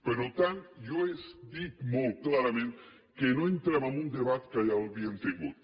per tant jo he dit molt clarament que no entrem en un debat que ja l’havíem tingut